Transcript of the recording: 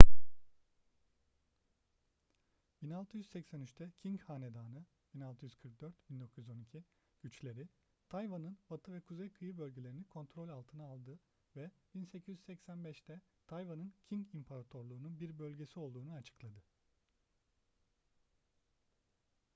1683'te qing hanedanı 1644-1912 güçleri tayvan'ın batı ve kuzey kıyı bölgelerini kontrol altına aldı ve 1885'te tayvan'ın qing i̇mparatorluğu'nun bir bölgesi olduğunu açıkladı